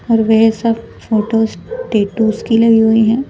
और वे सब फोटोज टैटूज की लगी हुई हैं।